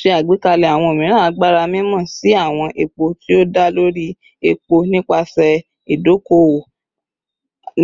Ṣe agbekalẹ awọn omiiran agbara mimọ si awọn epo ti o da lori epo nipasẹ idoko-owo